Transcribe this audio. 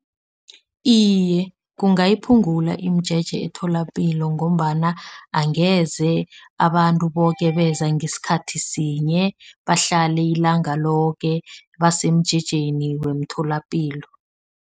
Iye, kungasiphungula imijeje emtholapilo ngombana angeze abantu boke beza ngesikhathi sinye. Bahlale ilanga loke basemjejeni wemtholapilo.